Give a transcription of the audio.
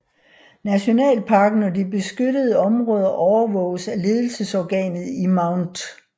Nationalparken og de beskyttede områder overvåges af ledelsesorganet i Mt